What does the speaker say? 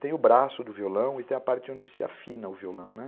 Tem o braço do violão e tem a parte onde se afina o violão, né?